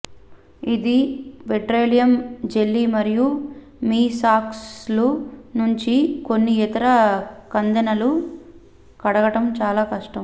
ఇది petroleum jelly మరియు మీ సాక్స్ల నుంచి కొన్ని ఇతర కందెనలు కడగడం చాలా కష్టం